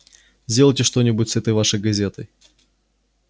сделайте что-нибудь с этой вашей газетой